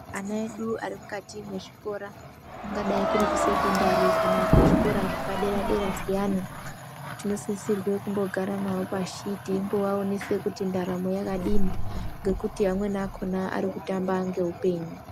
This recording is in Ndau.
Ana edu ari mukati mwe zvikora kungadai kuri ku sekondari kana ku zvikora zvepa dera dera zviyani tino sisirwe kumbo gara navo pashi teimbo vaonese kuti ndaramo yakadini ngekuti amweni akona ari kutamba nge upenyu.